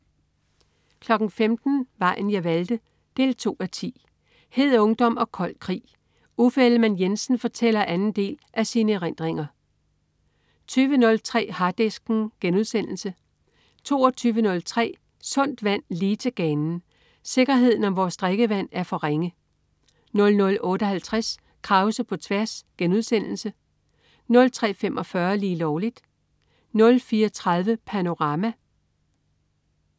15.00 Vejen jeg valgte 2:10. Hed ungdom og kold krig. Uffe Ellemann-Jensen fortæller anden del af sine erindringer 20.03 Harddisken* 22.03 Sundt vand, lige til ganen. Sikkerheden om vores drikkevand er for ringe 00.58 Krause på tværs* 03.45 Lige Lovligt* 04.30 Panorama*